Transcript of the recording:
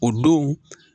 O don